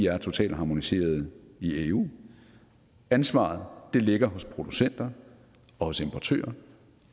er totalharmoniserede i eu ansvaret ligger hos producenter og hos importører